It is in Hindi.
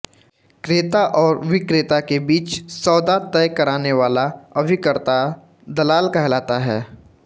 क्रेता और विक्रेता के बीच सौदा तय करानेवाला अभिकर्ता दलाल कहलाता है